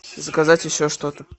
заказать еще что то